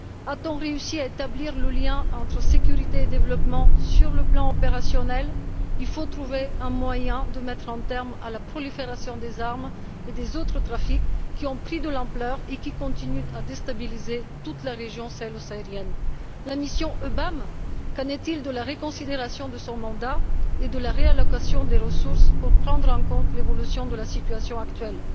A t on réussi à établir le lien entre sécurité et développement sur le plan opérationnel? Il faut trouver un moyen de mettre un terme à la prolifération des armes et des autres trafics qui ont pris de l'ampleur et continuent de déstabiliser toute la région sahélo saharienne. La mission EUBAM qu'en est il de la reconsidération de son mandat et de la réattribution des ressources pour prendre en compte l'évolution de la situation actuelle?